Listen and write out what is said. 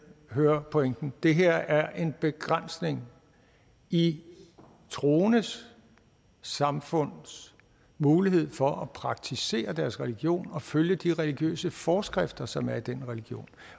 høre pointen det her er en begrænsning i troendes samfunds mulighed for at praktisere deres religion og følge de religiøse forskrifter som er i den religion